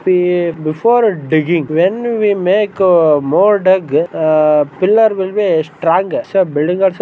ಏ before digging when we make more dug uh pillar will be strong so building also --